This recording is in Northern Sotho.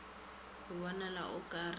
go bonala o ka re